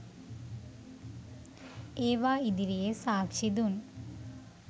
ඒවා ඉදිරියේ සාක්ෂි දුන්